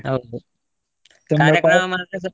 ಹೌದು .